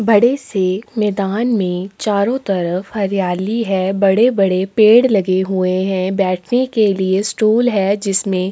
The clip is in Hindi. बड़े से मैदान मे चारों तरफ हरियाली है बड़े - बड़े पेड लगे हुये है बैठने के लिए स्टूल है जिसमें --